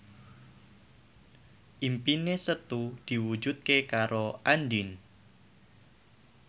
impine Setu diwujudke karo Andien